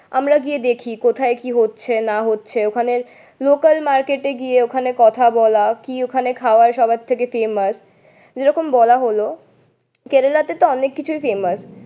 আমরা গিয়ে দেখি কোথায় কি হচ্ছে না হচ্ছে ওখানের লোকাল মার্কেটে গিয়ে ওখানে কথা বলা, কি ওখানে খাওয়া সবার থেকে ফেমাস এরকম বলা হলো। কেরালাতেতো অনেক কিছুই ফেমাস